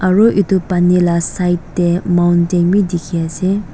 aru edu pani la side tae mountain bi dikhiase.